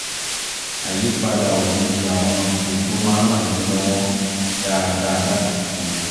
àyípadà òjijì àwọn ètò má ń ràn mí lọ́wọ́ dáadáa láti sinmi